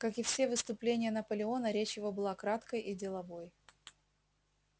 как и все выступления наполеона речь его была краткой и деловой